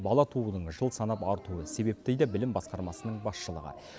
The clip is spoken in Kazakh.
бала туудың жыл санап артуы себеп дейді білім басқармасының басшылығы